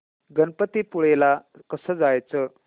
गणपतीपुळे ला कसं जायचं